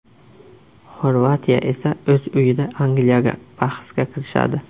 Xorvatiya esa o‘z uyida Angliyaga bahsga kirishadi.